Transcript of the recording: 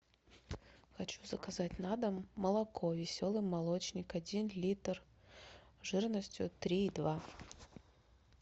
хочу заказать на дом молоко веселый молочник один литр жирностью три и два